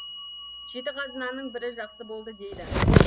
жеті қазынаның бірі жақсы болды дейді